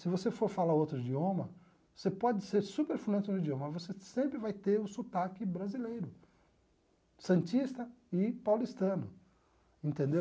Se você for falar outro idioma, você pode ser super fluente no idioma, mas você sempre vai ter o sotaque brasileiro, santista e paulistano, entendeu?